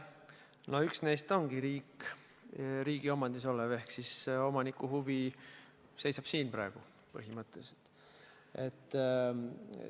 No üks neist ongi riigi omandis ehk omaniku huvi on põhimõtteliselt riigi huvi.